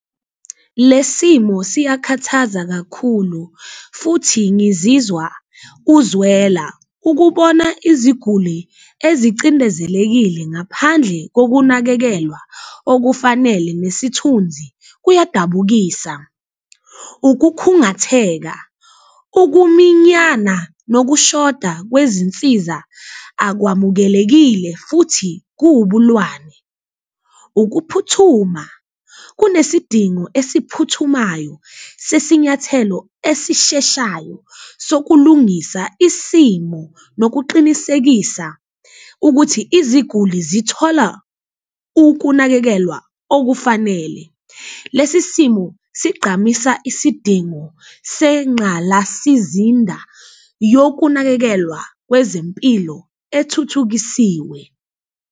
Le simo siyakhathaza kakhulu futhi ngizizwa uzwela ukubona iziguli ezicindezelekile ngaphandle kokunakekelwa okufanele nesithunzi kuyadabukisa, ukukhungatheka, ukuminyana nokushoda kwezinsiza akwamukelekile futhi kuwubulwane. Ukuphuthuma, kunesidingo esiphuthumayo sesinyathelo esisheshayo sokulungisa isimo nokuqinisekisa ukuthi iziguli zithola ukunakekelwa okufanele. Lesi simo sigqamisa isidingo senqalasizinda yokunakekelwa kwezempilo ethuthukisiwe.